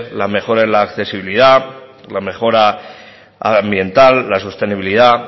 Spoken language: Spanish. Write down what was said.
la mejora de la accesibilidad la mejora ambiental la sostenibilidad